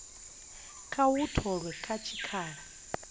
kha u tholwa kha tshikhala